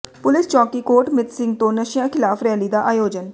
police ਚੌਕੀ ਕੋਟ ਮਿੱਤ ਸਿੰਘ ਤੋਂ ਨਸ਼ਿਆਂ ਖਿਲਾਫ ਰੈਲੀ ਦਾ ਆਯੋਜਨ